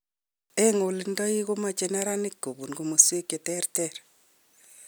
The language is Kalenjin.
En olndoig' komoche neranik kobun komosweek cheterter.